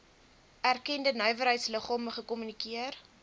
erkende nywerheidsliggame gekommunikeer